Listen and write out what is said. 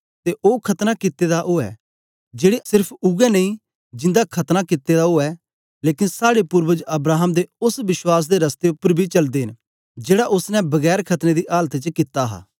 ते ओ खतना कित्ते गेदे दा ऊऐ जेड़े नेई सेर्फ जिन्दा खतना कित्ते दा ऐ लेकन साड़े पूर्वज अब्राहम दे ओस विश्वास दे रस्ते उपर बी चलदे न जेड़ा ओसने बिना खतने दी आलत च कित्ता हा